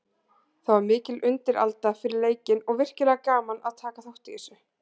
Það var mikil undiralda fyrir leikinn og virkilega gaman að taka þátt í þessu.